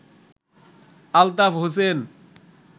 Altaf Hossain